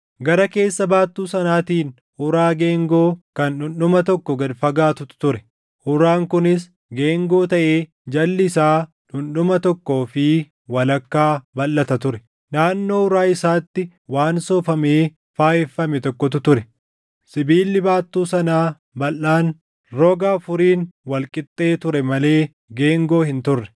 Gara keessa baattuu sanaatiin uraa geengoo kan dhundhuma tokko gad fagaatutu ture. Uraan kunis geengoo taʼee jalli isaa dhundhuma tokkoo fi walakkaa balʼata ture. Naannoo uraa isaatti waan soofamee faayeffame tokkotu ture. Sibiilli baattuu sanaa balʼaan roga afuriin wal qixxee ture malee geengoo hin turre.